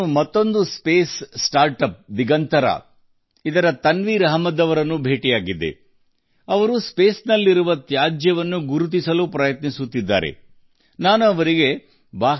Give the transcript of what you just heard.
ಬಾಹ್ಯಾಕಾಶದಲ್ಲಿ ತ್ಯಾಜ್ಯವನ್ನು ಗುರುತು ಮಾಡಲು ಪ್ರಯತ್ನಿಸುತ್ತಿರುವ ಮತ್ತೊಂದು ಬಾಹ್ಯಾಕಾಶ ನವೋದ್ಯಮ ದಿಗಂತರದ ತನ್ವೀರ್ ಅಹ್ಮದ್ ಅವರನ್ನು ನಾನು ಭೇಟಿ ಮಾಡಿದ್ದೇನೆ